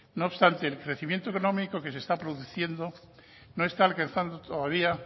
no obstante el crecimiento económico que se está se produciendo no es tal alcanzando todavía